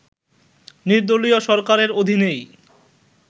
নির্দলীয় সরকারের অধীনেই